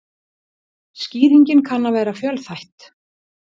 Skýringin kann að vera fjölþætt.